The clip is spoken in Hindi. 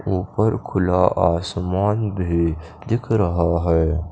उपर खुला आसमान भी दिख रहा है।